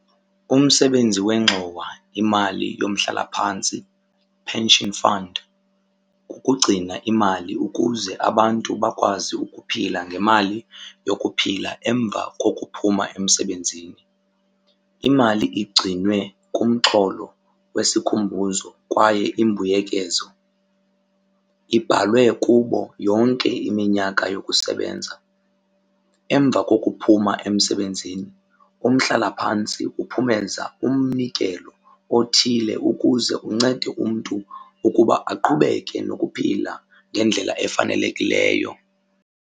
Umsebenzi wengxowa imali yomhlalaphantsi, pension fund, kukugcina imali ukuze abantu bakwazi ukuphila ngemali yokuphila emva kokuphuma emsebenzini. Imali igcinwe kumxholo wesikhumbuzo kwaye imbuyekezo ibhalwe kubo yonke iminyaka yokusebenza. Emva kokuphuma emsebenzini umhlalaphantsi uphumeza umnikelo othile ukuze uncede umntu ukuba aqhubeke nokuphila ngendlela efanelekileyo.